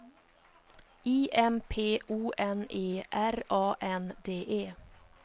I M P O N E R A N D E